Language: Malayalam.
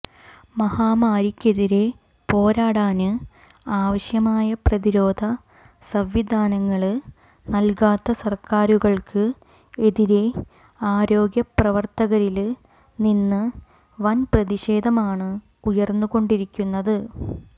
മഹാമാരിക്കെതിരെ പോരാടാന് ആവശ്യമായ പ്രതിരോധ സംവിധാനങ്ങള് നല്കാത്ത സര്ക്കാരുകള്ക്ക് എതിരെ ആരോഗ്യപ്രവര്ത്തകരില് നിന്ന് വന് പ്രതിഷേധമാണ് ഉയര്ന്നുകൊണ്ടിരിക്കുന്നത്